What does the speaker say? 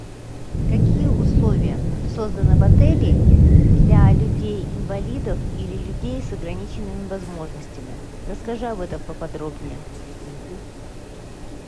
какие условия созданы в отеле для людей инвалидов или людей с ограниченными возможностями расскажи об этом поподробнее